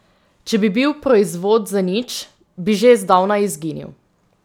Če bi bil proizvod zanič, bi že zdavnaj izginil.